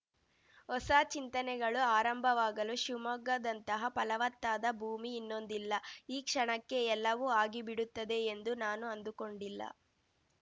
ಹೊಸ ಚಿಂತನೆಗಳು ಆರಂಭವಾಗಲು ಶಿವಮೊಗ್ಗದಂತಹ ಫಲವತ್ತಾದ ಭೂಮಿ ಇನ್ನೊಂದಿಲ್ಲ ಈ ಕ್ಷಣಕ್ಕೆ ಎಲ್ಲವೂ ಆಗಿ ಬಿಡುತ್ತದೆ ಎಂದು ನಾನು ಅಂದುಕೊಂಡಿಲ್ಲ